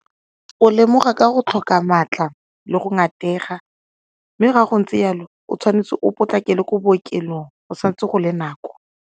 O lemoga ka go tlhoka maatla le go ngatega mme ga go ntse jalo o tshwanetse o potlakele kwa bookelong go sa ntse go le nako.